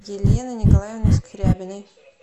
елены николаевны скрябиной